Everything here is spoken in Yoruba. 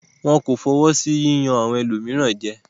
Wọn kò fọwọ́ sí jíjẹ́ àwọn ẹlòmíràn jẹ.